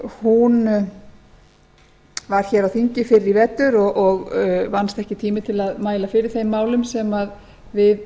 hún var á þingi fyrr í vetur og vannst ekki tími til að mæla fyrir þeim málum sem við